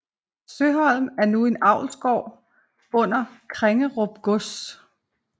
Søholm er nu en avlsgård under Krengerup Gods